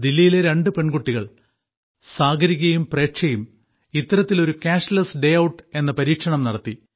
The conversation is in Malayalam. ദില്ലിയിലെ രണ്ടു പെൺമക്കൾ സാഗരികയും പ്രേക്ഷയും ഇത്തരത്തിൽ ഒരു ക്യാഷ്ലെസ് ഡേ ഔട്ട് എന്ന പരീക്ഷണം നടത്തി